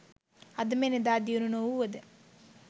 අද මෙන් එදා දියුණු නොවුව ද